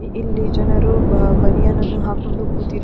ಇಲ್ಲಿ ಜನರು ಬ ಬನಿಯನ್ನು ಹಾಕೊಂಡು ಕುತಿದ --